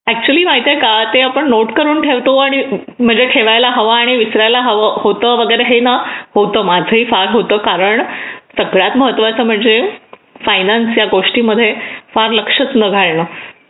actually माहिती आहे का ते आपण नोट करून ठेवतो आणि ठेवायला हवा आणि विसरायला हवा म्हणजे होतो हे ना होतं माझंही फार होतं कारण सगळ्यात महत्त्वाचं म्हणजे फायनान्स या गोष्टींमध्ये फार लक्ष न घालणं